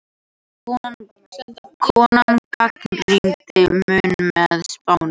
Konan gagnrýndi Múhameð spámann